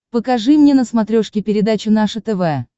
покажи мне на смотрешке передачу наше тв